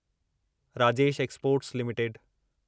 Rajesh exports limited